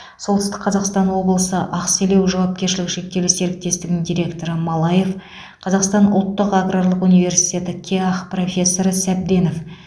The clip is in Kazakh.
солтүстік қазақстан облысы ақселеу жауапкершілігі шектеулі серіктесігінің директоры малаев қазақстан ұлттық аграрлық университеті кеақ профессоры сәбденов